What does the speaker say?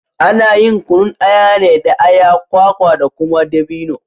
Ana yin kunun aya ne da aya, kwaka da kuma dabino.